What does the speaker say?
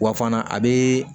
Wa fana a bɛ